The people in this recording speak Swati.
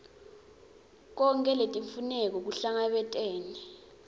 tonkhe letimfuneko kuhlangabetene